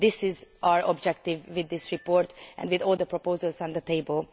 This is our objective with this report and with all the proposals on the table.